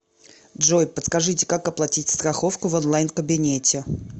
джой подскажите как оплатить страховку в онлайн кабинете